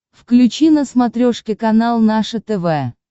включи на смотрешке канал наше тв